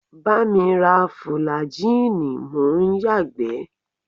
Bá mi ra fùlàjíìnì mò ń yàgbẹ́!